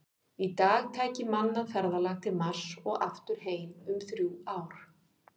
Í dag tæki mannað ferðalag til Mars og aftur heim um þrjú ár.